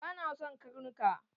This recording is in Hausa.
Bana son karnuka